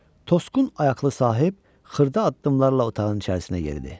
Tosqun ayaqlı sahib xırda addımlarla otağın içərisinə yeridi.